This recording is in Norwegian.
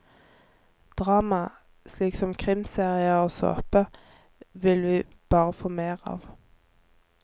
Drama, slik som krimserier og såpe, vil vi bare få mer av.